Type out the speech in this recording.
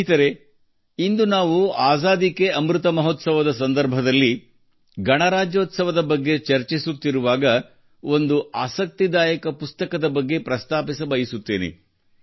ಸ್ನೇಹಿತರೇ ಇಂದು ನಾವು ಆಜಾದಿ ಕೆ ಅಮೃತ್ ಮಹೋತ್ಸವದ ಸಂದರ್ಭದಲ್ಲಿ ಗಣರಾಜ್ಯೋತ್ಸವದ ಬಗ್ಗೆ ಚರ್ಚಿಸುತ್ತಿರುವಾಗ ಒಂದು ಆಸಕ್ತಿದಾಯಕ ಪುಸ್ತಕದ ಬಗ್ಗೆ ಪ್ರಸ್ತಾಪಿಸಬಯಸುತ್ತೇನೆ